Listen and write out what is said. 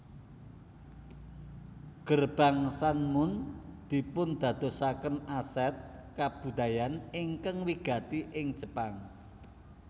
Gerbang San mon dipundadosaken aset kabudayan ingkang wigati ing Jepang